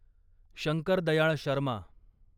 Shankar Dayal Sharma